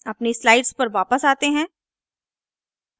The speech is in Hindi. अपनी slides पर वापस आते हैं